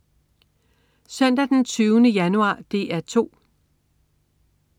Søndag den 20. januar - DR 2: